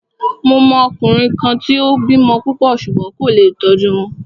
Mo mọ ọkùnrin kan tí o bímọ púpọ̀ ṣùgbón kò lé tó tọ́jú wọn.